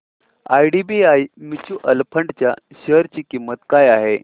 IDBI mutual fund च्या share ची किंमत काय आहे